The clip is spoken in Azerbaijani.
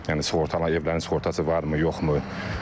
Yəni sığorta evlərinin sığortası varmı, yoxmu?